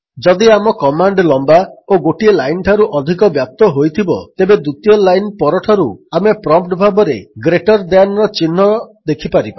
ଯଦି ଆମ କମାଣ୍ଡ୍ ଲମ୍ୱା ଓ ଗୋଟିଏ ଲାଇନ୍ଠାରୁ ଅଧିକ ବ୍ୟାପ୍ତ ହୋଇଥିବ ତେବେ ଦ୍ୱିତୀୟ ଲାଇନ୍ ପରଠାରୁ ଆମେ ପ୍ରମ୍ପ୍ଟ୍ ଭାବରେ ଗ୍ରେଟର୍ ଦ୍ୟାନ୍ର ଚିହ୍ନ ଜିଟି ଦେଖିପାରିବା